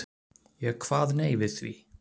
Ég kvað nei við því.